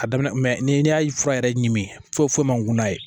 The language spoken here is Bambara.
A daminɛ ni y'a fura yɛrɛ ɲimi foyi foyi man ŋana ye